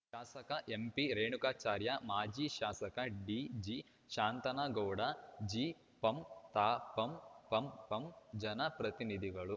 ಶಾಸಕ ಎಂಪಿರೇಣುಕಾಚಾರ್ಯ ಮಾಜಿ ಶಾಸಕ ಡಿಜಿಶಾಂತನಗೌಡ ಜಿಪಂ ತಾಪಂ ಪಂಪಂ ಜನಪ್ರತಿನಿಧಿಗಳು